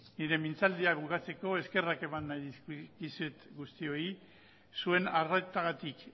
nire mintzaldia bukatzeko eskerrak eman nahi dizkizuet guztiei zuen arretagatik